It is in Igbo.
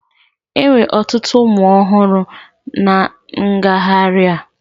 Enwere ọtụtụ ụmụ ọhụrụ na ngagharị a